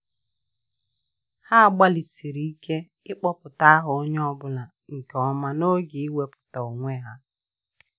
Ha gbalịsiri ike ịkpọpụta aha onye ọ bụla nke ọma n'oge iwebata onwe ha.